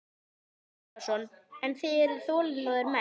Sölvi Tryggvason: En þið eruð þolinmóðir menn?